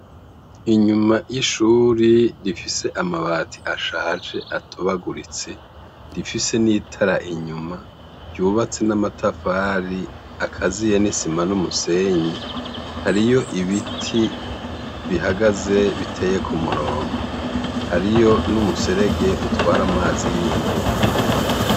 inyuma y' ishure rifis' amabat' ashaj' atobaguritse rifise n' itar' inyuma, yubatse n' amatafar' akaziye n'isima n' umusenyi, hariy' ibiti bihagaze biteye k' umurongo, hariyo n' umuserege utwar' amazi y' imvura.